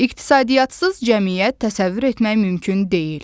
İqtisadiyyatsız cəmiyyət təsəvvür etmək mümkün deyil.